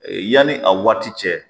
Yanni a waati cɛ.